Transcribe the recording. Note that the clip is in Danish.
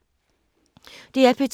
DR P2